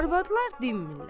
Arvadlar dinmirlər.